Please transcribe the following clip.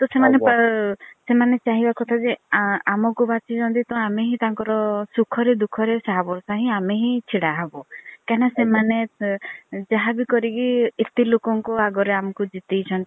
ତ ସେମାନେ ଚାହିଁବା କଥା ଯେ ଆମକୁ ବାସଛି ଛନ୍ତି ତ ଆମେ ହିଁ ତାଙ୍କର ସୁଖ ରେ ଦୁଖ ରେ ଶାହା ଭାରସା ହିଁ ଆମେ ହିଁ ଛିଡା ହେବୁ। କାଇଁ ନା ସେମାନେ ଯାହାବି କରିକି ଏତେ ଲୋକ କଂ ଆଗରେ ଆମକୁ ଜିତେଇ ଛନ୍ତି।